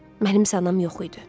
Mənim isə anam yox idi.